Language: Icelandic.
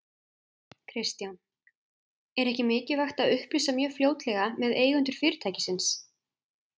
Kristján: Er ekki mikilvægt að upplýsa mjög fljótlega með eigendur fyrirtækisins?